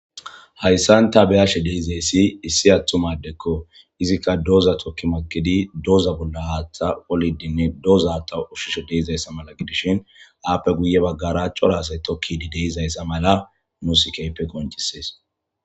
Hayssanta beyashe deizeyssi issi attumadekko izikka dooza tokki makidi doza bolla haaththa olidinne dooza ta ushishe deizayssa mala gidishin aappe guye baggaraaco raasay tokkidi deizayssa mala nu sikeype koncisees.